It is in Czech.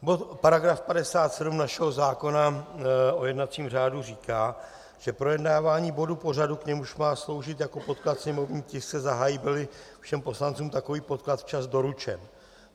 Paragraf 57 našeho zákona o jednacím řádu říká, že projednávání bodu pořadu, k němuž má sloužit jako podklad sněmovní tisk, se zahájí, byl-li všem poslancům takový podklad včas doručen.